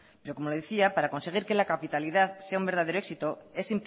pero como le decía para conseguir que la capitalidad sea un verdadero éxito es